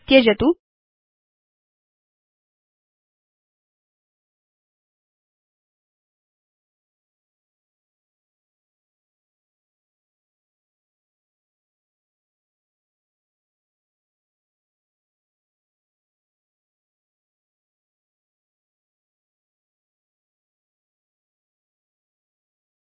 भवान् पश्यति यत् चिता कक्षा प्रकाशिता